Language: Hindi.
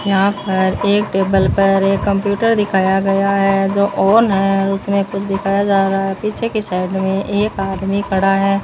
यहां पर एक टेबल पर एक कंप्यूटर दिखाया गया है जो ऑन है और उसमें कुछ दिखाई जा रहा है पीछे की साइड में एक आदमी खड़ा है।